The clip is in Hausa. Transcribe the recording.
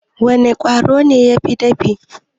Wana Ƙwaro ne yafi dafi?